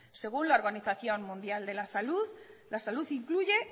según la organización mundial de la salud la salud incluye